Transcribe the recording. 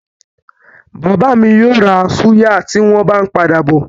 Bàbá mi yóò ra súyà tí wọ́n bá ń padà bọ̀.